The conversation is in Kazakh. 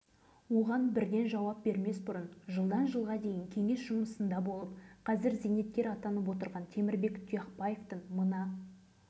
осы арада алғашқы жылдары ядролық сынақ қай облыстың жерінде жүргізілді екен деген сауалдар төңірегінде ойланып көрейікші